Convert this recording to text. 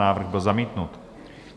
Návrh byl zamítnut.